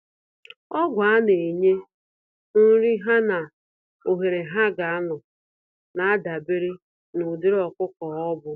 Ọgwụ a-nenye, nri ha nà ohere ha ga anọ, nadabere n'ụdịrị ọkụkọ ọbụ.